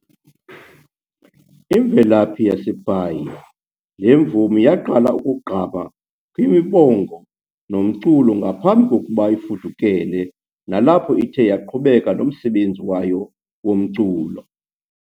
Imvelaphi yaseBhayi, le mvumi yaqala ukugqama kwimibongonyas nomculo ngaphambi kokuba ifudekele, nalapho ithe yaqhubeka nomsebenzi wayo womculo.